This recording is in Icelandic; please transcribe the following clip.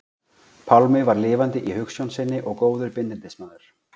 Pálmi var lifandi í hugsjón sinni og góður bindindismaður.